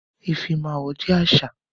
Ifímáwó jẹ àṣà.